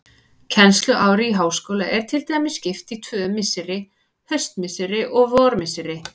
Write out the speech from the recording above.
Kennsluári í háskóla er til dæmis skipt í tvö misseri, haustmisseri og vormisseri.